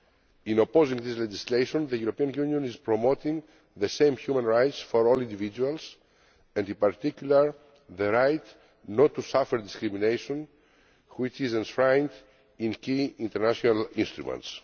In opposing this legislation the European Union is promoting the same human rights for all individuals and in particular the right not to suffer discrimination, which is enshrined in key international instruments.